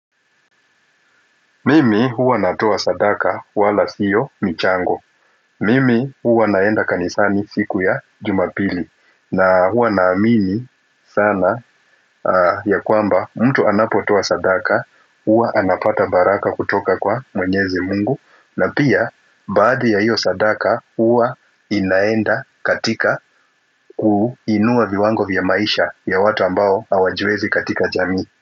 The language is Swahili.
Mimi huwa natoa sadaka wala sio michango. Mimi huwa naenda kanisani siku ya jumapili na huwa naamini sana ya kwamba mtu anapotoa sadaka huwa anapata baraka kutoka kwa mwenyezi mungu na pia baadhi ya hiyo sadaka huwa inaenda katika ku inua viwango vya maisha ya watu ambao hawajiwezi katika jamii.